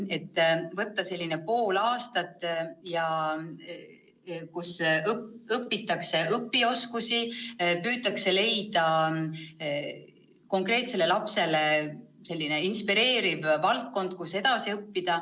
Nad võivad võtta selle pool aastat, mille jooksul õpitakse õpioskusi ja püütakse leida konkreetsele lapsele inspireeriv valdkond, kus edasi õppida.